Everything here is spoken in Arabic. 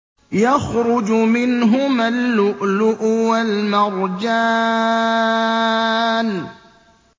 يَخْرُجُ مِنْهُمَا اللُّؤْلُؤُ وَالْمَرْجَانُ